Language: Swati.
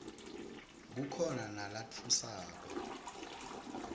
kukhona nalatfusako